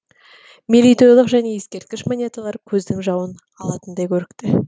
мерейтойлық және ескерткіш монеталар көздің жауын алатындай көрікті